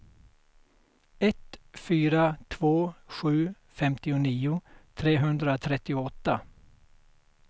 ett fyra två sju femtionio trehundratrettioåtta